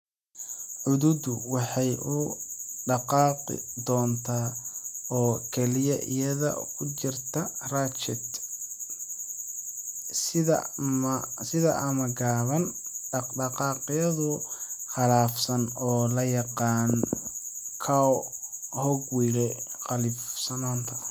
Cududdu waxay u dhaqaaqi doontaa oo kaliya iyada oo ku jirta ratchet sida ama gaaban, dhaqdhaqaaqyo qalafsan oo loo yaqaan "cogwheel" qallafsanaan.